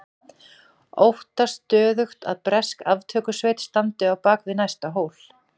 Óttast stöðugt að bresk aftökusveit standi á bak við næsta hól.